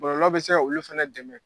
Bɔlɔlɔ bɛ se ka olu fana dɛmɛ.